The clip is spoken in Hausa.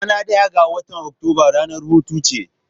Ranar daya ga watan Oktoba ranar hutu ce?